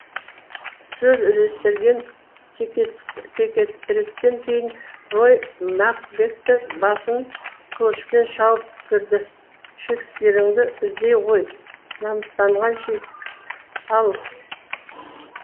сөз іліністірген текетірестен кейін рой макбеттің басын қылышпен шауып түсірді шекспиріңді іздей ғой намыстанған шекс ал